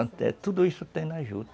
Então tudo isso tem na juta.